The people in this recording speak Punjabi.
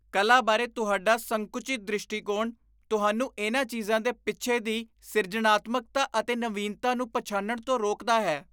ਕਲਾ ਬਾਰੇ ਤੁਹਾਡਾ ਸੰਕੁਚਿਤ ਦ੍ਰਿਸ਼ਟੀਕੋਣ ਤੁਹਾਨੂੰ ਇਨ੍ਹਾਂ ਚੀਜ਼ਾਂ ਦੇ ਪਿੱਛੇ ਦੀ ਸਿਰਜਣਾਤਮਕਤਾ ਅਤੇ ਨਵੀਨਤਾ ਨੂੰ ਪਛਾਣਨ ਤੋਂ ਰੋਕਦਾ ਹੈ।